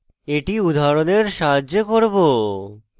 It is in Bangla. এটি উদাহরণের সাহায্যে করব